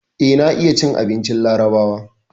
Eh, na iya cin abincin larabawa.